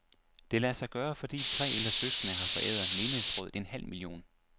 Det lader sig gøre, fordi tre ældre søskende har foræret menighedsrådet en halv million.